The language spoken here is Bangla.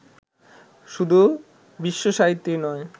শুধু বিশ্বসাহিত্যেই নয়